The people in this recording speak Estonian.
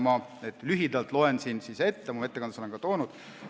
Ma loen selle lühidalt ette, oma ettekandes olen ma selle esile toonud.